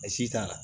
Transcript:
A si t'a la